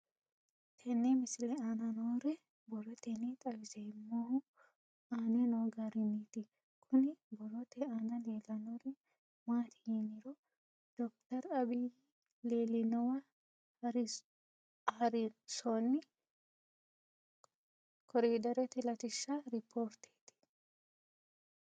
Tenne misile aana noore borroteni xawiseemohu aane noo gariniiti. Kunni borrote aana leelanori maati yiniro Dr abiy leelinowa haarisonni korderette laatishsha ripoorteti